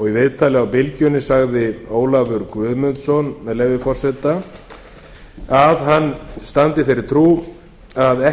og í viðtali á bylgjunni sagði ólafur guðmundsson með leyfi forseta að hann standi í þeirri trú að